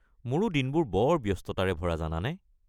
মোৰো দিনবোৰ বৰ ব্যস্ততাৰে ভৰা জানানে।